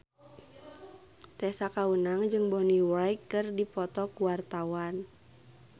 Tessa Kaunang jeung Bonnie Wright keur dipoto ku wartawan